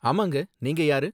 ஆமாங்க, நீங்க யாரு?